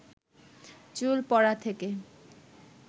চুল পড়া থেকে